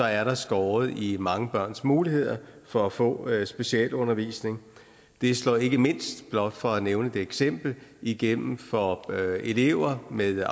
er der skåret i mange børns muligheder for at få specialundervisning det slår ikke mindst blot for at nævne et eksempel igennem for elever med